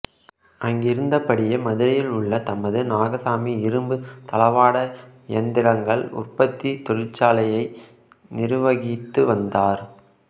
அங்கிருந்தபடியே மதுரையில் உள்ள தமது நாகசாமி இரும்பு தளவாட இயந்திரங்கள் உற்பத்தி தொழிற்சாலையை நிர்வகித்து வந்தார்